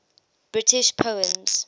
british poems